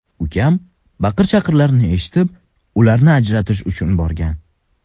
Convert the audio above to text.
Ukam baqir-chaqirlarni eshitib, ularni ajratish uchun borgan.